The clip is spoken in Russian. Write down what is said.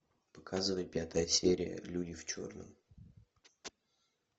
показывай пятая серия люди в черном